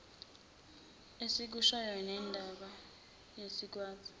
esikushoyo nembala siyakwenza